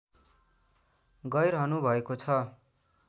गैरहनु भएको छ